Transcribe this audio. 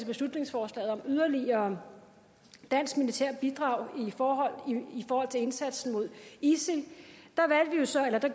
beslutningsforslag om et yderligere dansk militært bidrag i forhold til indsatsen mod isil jo så